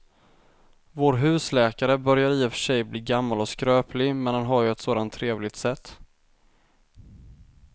Vår husläkare börjar i och för sig bli gammal och skröplig, men han har ju ett sådant trevligt sätt!